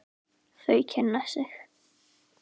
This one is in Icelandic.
Þau kynna sig.